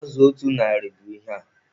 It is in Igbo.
Azụ otu narị bụ ihe a.